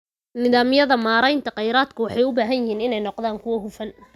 Nidaamyada maareynta kheyraadka waxay u baahan yihiin inay noqdaan kuwo hufan.